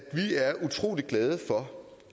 vi er utrolig glade for